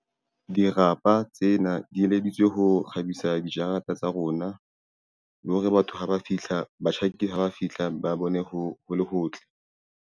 Dirapa tsena di eleditswe ho kgabisa dijarata tsa rona. Le hore batho haba fihla batjhaki ha ba fihla ba bone ho le hotle.